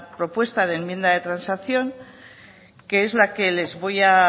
propuesta de enmienda de transacción que es la que les voy a